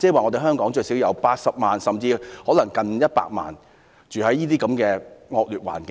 即是說香港最少有80萬名市民，更甚可能有約100萬名市民居住在惡劣環境中。